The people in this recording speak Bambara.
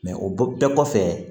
o bɔ bɛɛ kɔfɛ